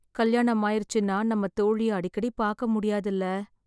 கல்யாணம் ஆயிருச்சுனா நம்ம தோழிய அடிக்கடி பாக்க முடியாதுல